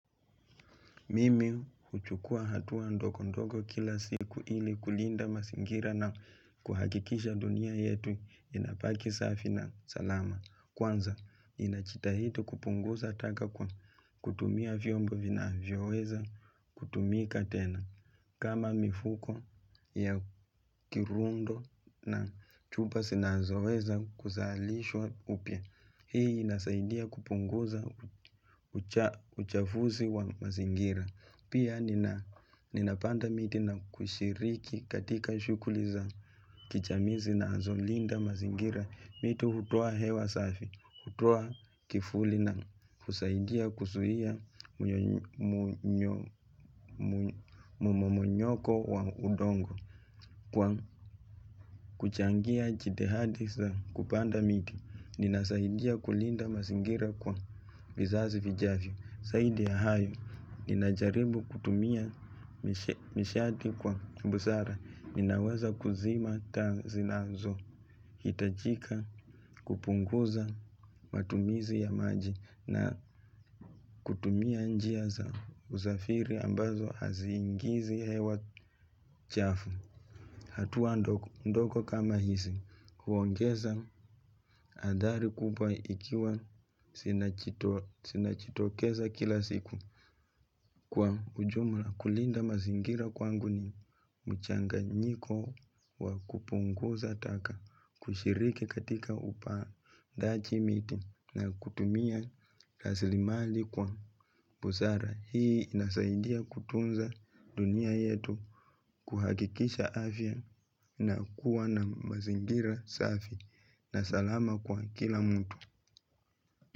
Mimi huchukua hatua ndogondogo kila siku ili kulinda mazingira na kuhakikisha dunia yetu inabaki safi na salama. Kwanza, ninajitahidi kupunguza taka kwa kutumia vyombo vinavyoweza kutumika tena. Kama mifuko ya kirundo na chupa zinazoweza kuzalishwa upya, hii inasaidia kupunguza uchafuzi wa mazingira. Pia ninapanda miti na kushiriki katika shughuli za kijamii zinazolinda mazingira, mito hutoa hewa safi, hutoa kivuli na kusaidia kuzuia mmomonyoko wa udongo. Kwa kuchangia jitihadi za kupanda miti, ninasaidia kulinda mazingira kwa vizazi vijavyo. Zaidi ya hayo, ninajaribu kutumia nishati kwa busara, ninaweza kuzima taa zinazo. Hitajika kupunguza matumizi ya maji na kutumia njia za usafiri ambazo haziingizi hewa chafu. Hatua ndogondogo kama hizi, huongeza athari kubwa ikiwa zinajitokeza kila siku. Kwa ujumla kulinda mazingira kwangu ni mchanganyiko wa kupunguza taka, kushiriki katika upandaji miti na kutumia rasilimali kwa busara. Hii inasaidia kutunza dunia yetu kuhakikisha afya na kuwa na mazingira safi. Na salama kwa kila mtu.